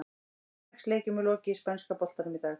Sex leikjum er lokið í spænska boltanum í dag.